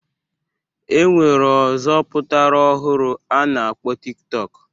E nwere ọzọ pụtara ọhụrụ a na-akpọ Tik tọk